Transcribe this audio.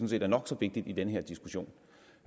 set er nok så vigtig i den her diskussion